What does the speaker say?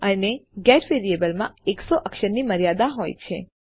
અને ગેટ વેરિયેબલમાં એકસો અક્ષરની મર્યાદા હોય છે